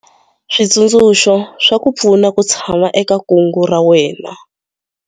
Switsundzuxo swa ku pfuna ku tshama eka kungu ra wena.